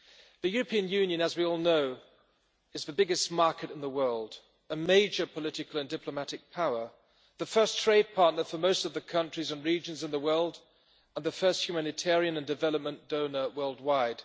The European Union as we all know is the biggest market in the world, a major political and diplomatic power, the first trade partner for most of the countries and regions in the world, and the first humanitarian and development donor worldwide.